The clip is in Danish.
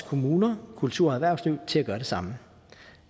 kommuner og kultur og erhvervsliv til at gøre det samme